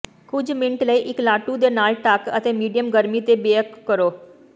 ਕੁਝ ਮਿੰਟ ਲਈ ਇੱਕ ਲਾਟੂ ਦੇ ਨਾਲ ਢਕ ਅਤੇ ਮੀਡੀਅਮ ਗਰਮੀ ਤੇ ਬਿਅੇਕ ਕਰੋ